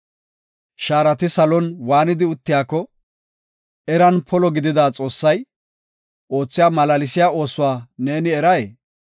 Shaarati salon waanidi uttiyako, eran polo gidida Xoossay oothiya malaalsiya oosuwa neeni eray?